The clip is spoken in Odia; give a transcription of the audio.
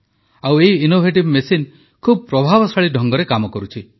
ଆଉ ଏହି ମେସିନ୍ ଖୁବ୍ ପ୍ରଭାବଶାଳୀ ଢଙ୍ଗରେ କାମ କରୁଛି